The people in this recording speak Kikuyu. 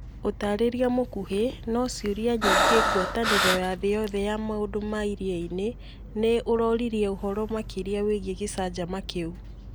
Ũtarĩria mũkuhi, no cĩũria nyĩngi Ngwatanĩro ya thĩ yothe ya maũndũ ma iriainĩ nĩ ũroririe ũhoro makĩria wĩgiĩ gĩcanjama kĩu